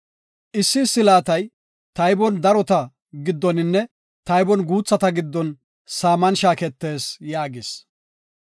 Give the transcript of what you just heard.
Issi issi laatay taybon darota giddoninne taybon guuthata giddon saaman shaaketees” yaagis.